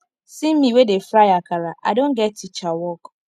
see me wey dey fry akara i don go get teacher work